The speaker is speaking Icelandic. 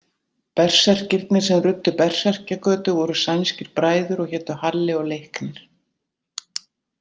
Berserkirnir sem ruddu Berserkjagötu voru sænskir bræður og hétu Halli og Leiknir.